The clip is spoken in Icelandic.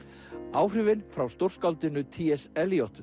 áhrifin frá stórskáldinu t s